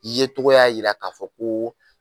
I ye tɔgɔ y'a jira k'a fɔ ko